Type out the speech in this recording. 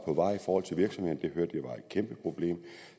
et kæmpe problem